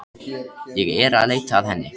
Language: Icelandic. Ég er að leita að henni.